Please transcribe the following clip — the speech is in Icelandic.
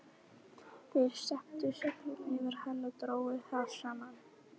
Þeir steyptu seglinu yfir hann og drógu það saman.